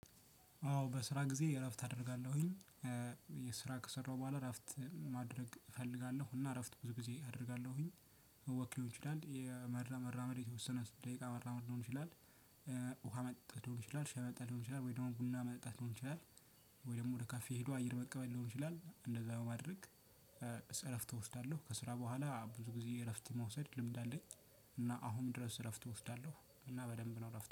አዎ በስራ ጊዜ እረፍት አደርጋለሁኝ። የስራ ከሰራሁ በኋላ እረፍት ማድረግ እፈልጋለሁ እና እረፍት ብዙ ጊዜ አደርጋለሁኝ። ወክ ሊሆን ይችላል የመራ መራመድ የተወሰነ ደቂቃ መራመድ ሊሆን ይችላል ውሃ መጥጣት ሊሆን ይችላል ሻህ መጠጣት ሊሆን ይችላል ወይ ደግሞ ቡና መጠጣት ሊሆን ይችላል ወይ ደግሞ ወደ ካፌ ሄዶ አየር መቀበል ሊሆን ይችላል እንደዛ በማድረግ ጸ እረፍት እወስዳለሁ ከስራ በኋላ ብዙ ጊዜ እረፍት መውሰድ ልምድ አለኝ። እና አሁንም ድረስ እረፍት እወስዳለሁ እና በደንብ ነው እረፍት